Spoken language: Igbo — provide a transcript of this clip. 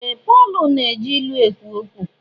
Ee! Pọl na-eji ilu ekwu okwu.